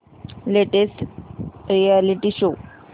latest reality show